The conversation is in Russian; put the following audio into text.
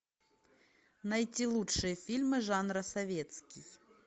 найти лучшие фильмы жанра советский